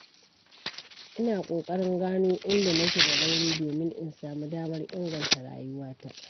Ina ƙoƙarin gano inda nake da rauni domin in samu damar inganta rayuwata.